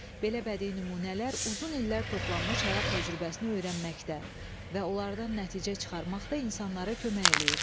Belə bədii nümunələr uzun illər toplanmış həyat təcrübəsini öyrənməkdə və onlardan nəticə çıxarmaqda insanlara kömək eləyir.